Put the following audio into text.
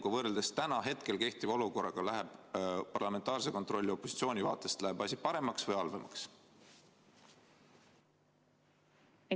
Kas selle eelnõuga läheb parlamentaarne kontroll opositsiooni vaatest kehtiva olukorraga võrreldes paremaks või halvemaks?